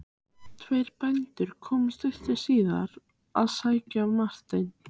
Tveir bændur komu stuttu síðar að sækja Martein.